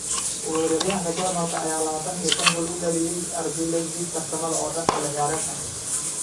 Weeraryahanka Jarmalka ayaa 25 gool u dhaliyay RB Leipzig tartamada oo dhan xilli ciyaareedkan.